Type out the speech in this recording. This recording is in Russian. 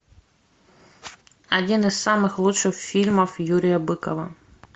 один из самых лучших фильмов юрия быкова